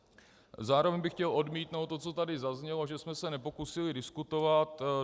Zároveň bych chtěl odmítnout to, co tady zaznělo, že jsme se nepokusili diskutovat.